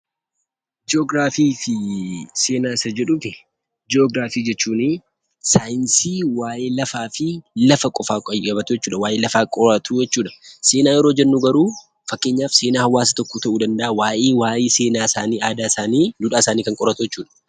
Ji'ograafii fi seenaa. Ji'ograafii jechuun sayinsii waa'ee lafaa fi lafaa qofa qayabatuu jechuudha. Waa'ee lafaa qoratuu jechuudha. Seenaa yeroo jennu garuu faakkeenyaaf seenaa hawaasa tokko ta'u danda'a. Waa'ee seenaa isaanni, aadaa isaanni, duudhaa isaanni jechuudha.